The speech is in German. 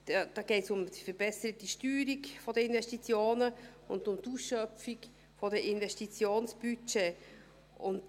Da geht es um die verbesserte Steuerung der Investitionen und um die Ausschöpfung der Investitionsbudgets.